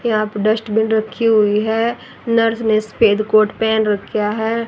यहां पे डस्टबिन रखी हुई है नर्स ने सफेद कोर्ट पहन रखा है।